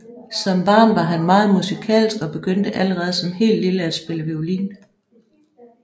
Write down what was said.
Som barn var han meget musikalsk og begyndte allerede som helt lille at spille violin